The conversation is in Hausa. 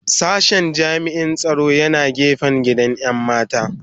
Sashen jami'in tsaro yana gefen gidan 'yan mata